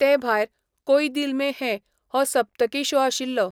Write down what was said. तेभायर, 'कोई दिल में हैं' हो सप्तकी शो आशिल्लो.